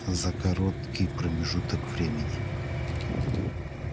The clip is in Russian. за короткий промежуток времени